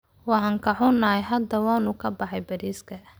Waan ka xunahay, hadda waanu ka baxay bariiska.